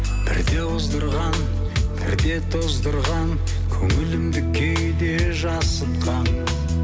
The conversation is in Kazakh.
бірде оздырған бірде тоздырған көңілімді кейде жасытқан